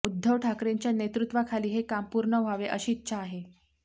उद्धव ठाकरेंच्या नेतृत्वाखाली हे काम पूर्ण व्हावे अशी इच्छा आहे